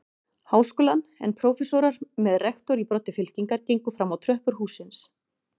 Háskólann, en prófessorar með rektor í broddi fylkingar gengu fram á tröppur hússins.